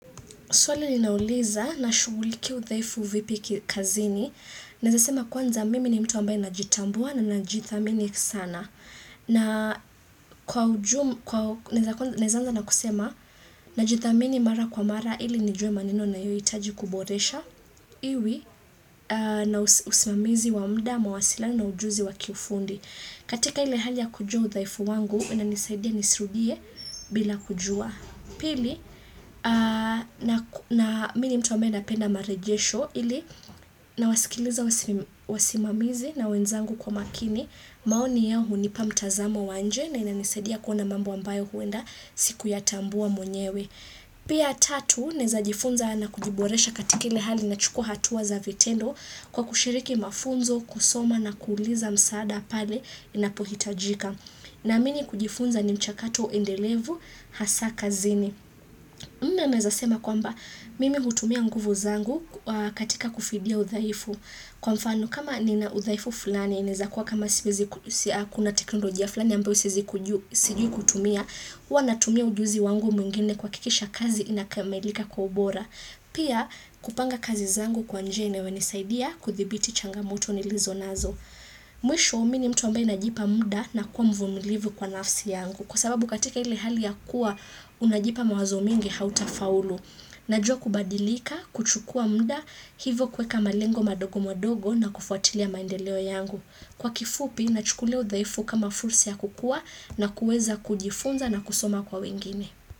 Swali ninauliza nashuguliki udhaifu vipi kazini. Naeza sema kwanza mimi ni mtu ambaye na jitambua na najitamini sana. Na kwa ujumu kwa naeza anza na kusema najitamini mara kwa mara ili nijue maneno ninayoitaji kuboresha. Iwi na usimamizi wa mda, mawasiliano ujuzi wa kifundi. Katika ile hali ya kujua udhaifu wangu, inanisaidia nisirudie bila kujua. Na na mi ni mtu ambaye napenda marejesho ili nawasikiliza wasimamizi na wenzangu kwa makini maoni yao hunipa mtazamo wa nje na inanisaidia kuona mambo ambayo huenda sikuyatambua mwenyewe. Pia tatu nezajifunza na kujiboresha katika ile hali nachuka hatua za vitendo kwa kushiriki mafunzo, kusoma na kuuliza msaada pale inapohitajika. Naamini kujifunza ni mchakato endelevu hasa kazini. Nne naeza sema kwamba mimi hutumia nguvu zangu katika kufidia udhaifu. Kwa mfano, kama ninaudhaifu fulani, naezakuwa kama siwezi kuna teknolojia fulani ambayo siezi sijui kutumia, hua natumia ujuzi wangu mwingine kuhakikisha kazi inakamilika kwa ubora. Pia, kupanga kazi zangu kwa njia inayo nisaidia kuthibiti changamuto nilizo nazo. Mwisho mi ni mtu ambayo najipa mda na kuwa mvumilivu kwa nafsi yangu. Kwa sababu katika ile hali ya kuwa, unajipa mawazo mingi hautafaulu. Najua kubadilika, kuchukua mda, hivo kweka malengo madogo madogo na kufuatilia maendeleo yangu. Kwa kifupi, nachukulia udhaifu kama fursi ya kukua na kueza kujifunza na kusoma kwa wengine.